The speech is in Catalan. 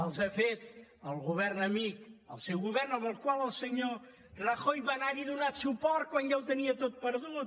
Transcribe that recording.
els ha fet el govern amic el seu govern amb el qual el senyor rajoy va anar hi a donar suport quan ja ho tenia tot perdut